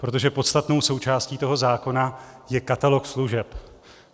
Protože podstatnou součástí toho zákona je katalog služeb.